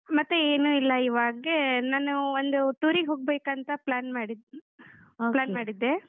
ಮತ್ತೆ ಏನು ಇಲ್ಲ ಇವಾಗೇ, ನಾನು ಒಂದು tour ಗ್ ಹೋಗ್ಬೇಕಂತ plan ಮಾಡಿದ್ಡ್ ಮಾಡಿದ್ದೆ.